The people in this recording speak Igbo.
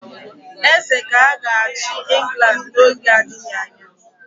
Eze ka ga-achị England n'oge adịghị anya.